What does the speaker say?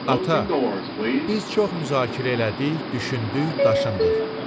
Ata, biz çox müzakirə elədik, düşündük, daşındıq.